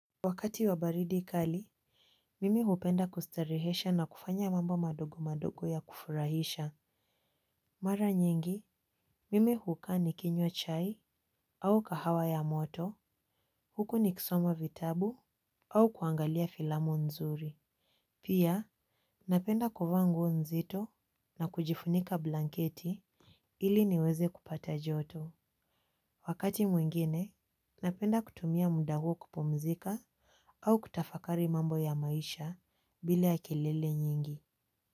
Wakati wabaridi kali, mimi hupenda kustarehesha na kufanya mambo madogo madogo ya kufurahisha. Mara nyingi, mimi hukaa nikinywa chai au kahawa ya moto, huku nikisoma vitabu au kuangalia filamu nzuri. Pia, napenda kuvaa nguo nzito na kujifunika blanketi ili niweze kupata joto. Wakati mwingine, napenda kutumia muda huo kupumzika au kutafakari mambo ya maisha bila kelele nyingi.